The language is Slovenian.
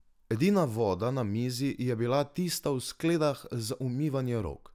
Edina voda na mizi je bila tista v skledah za umivanje rok.